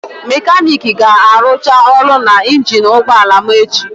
Mekaniiki ga-arụcha ọrụ na injin ụgbọ ala m echi.